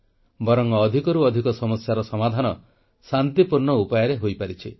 ବରଂ ଅଧିକରୁ ଅଧିକ ସମସ୍ୟାର ସମାଧାନ ଶାନ୍ତିପୂର୍ଣ୍ଣ ଉପାୟରେ ହୋଇପାରିଛି